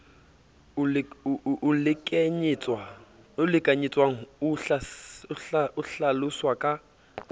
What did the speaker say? o lekanyetswang o hlaloswa ka